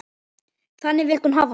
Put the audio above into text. Þannig vildi hún hafa það.